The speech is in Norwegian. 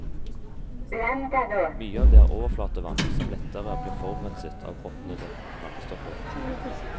Mye av det er overflatevann, som lettere blir forurenset av råtnende plantestoffer.